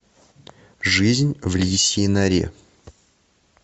жизнь в лисьей норе